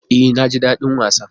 E, naji daɗin wasan.